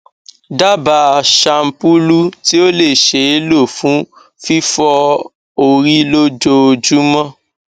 daba shampulu ti o le ṣee lo fun fifọ ori lojoojumọ